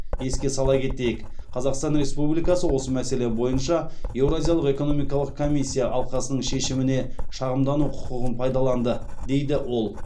еске сала кетейік қазақстан республикасы осы мәселе бойынша еуразиялық экономикалық комиссия алқасының шешіміне шағымдану құқығын пайдаланды дейді ол